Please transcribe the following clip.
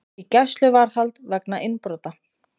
Í gæsluvarðhald vegna innbrota